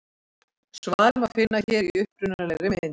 Svarið má finna hér í upprunalegri mynd.